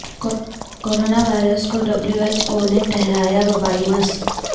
corona virus کو W H O نے ٹھہرایا وبائی مرض